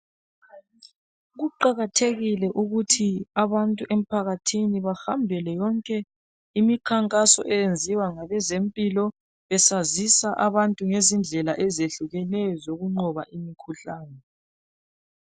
Kuqakathekile ukuthi abantu emphakathini bahambele yonke imikhankaso eyenziwa ngabezempilo besazisa abantu ngezindlela ezehlukeneyo zokunqoba imikhuhlane .